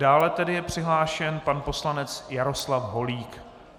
Dále tedy je přihlášen pan poslanec Jaroslav Holík.